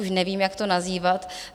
Už nevím, jak to nazývat.